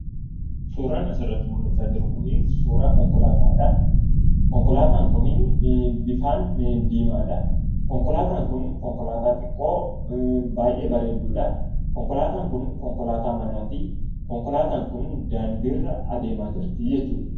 Suuraan asirratti mul'achaa jiru kun suuraa konkolataati. Konkolaataan kun bifaan diimaadha. Konkolaataan kun konkolaataa xiqqoo baay'ee bareedduudha. Konkolaataan kun konkolaataa manaati. Konkolaataan kun daandiirra adeemaa jirta jechuudha.